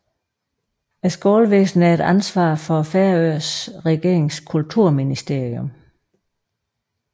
Skolevæsenet er et ansvar for Færøernes regerings Kulturministerium